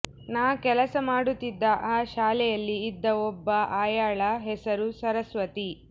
ನಾ ಕೆಲಸ ಮಾಡುತ್ತಿದ್ದ ಆ ಶಾಲೆಯಲ್ಲಿ ಇದ್ದ ಒಬ್ಬ ಆಯಾಳ ಹೆಸರು ಸರಸ್ವತಿ